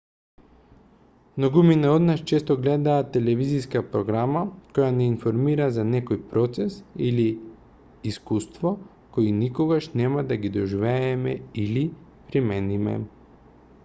многумина од нас често гледаат телевизиска програма која нѐ информира за некој процес или искуство кои никогаш нема да ги доживееме или примениме